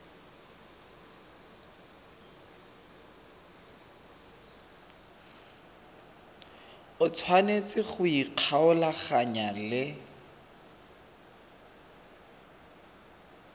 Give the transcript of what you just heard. o tshwanetse go ikgolaganya le